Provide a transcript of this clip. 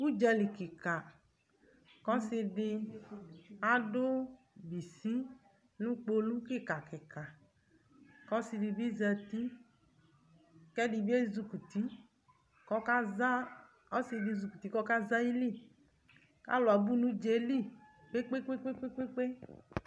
Ʋdzali kɩka : k'ɔsɩdɩ adʋ bisi nʋ kpolu kɩka kɩka , k'ɔsɩdɩ bɩ zati k'ɛdɩ bɩ ezikuti k'ɔkaza , ɔsɩdɩ ezikuti k'ɔkaza ayili Alʋ abʋ n'ʋdzaɛli kpekpekpekpekpekpe